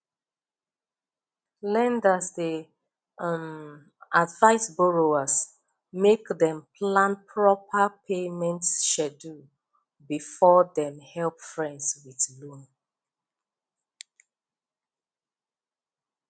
lenders dey um advise borrowers make dem plan proper payment schedule before dem help friends with loan